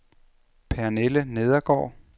Pernille Nedergaard